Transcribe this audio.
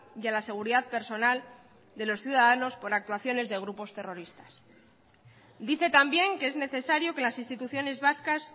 y a la seguridad personal de los ciudadanos por actuaciones de grupos terroristas dice también que es necesario que las instituciones vascas